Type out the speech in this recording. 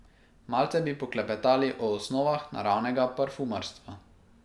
Malce bi poklepetali o osnovah naravnega parfumarstva.